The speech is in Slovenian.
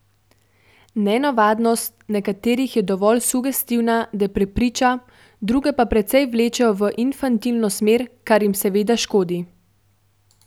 Nenavadnost nekaterih je dovolj sugestivna, da prepriča, druge pa precej vlečejo v infantilno smer, kar jim seveda škodi.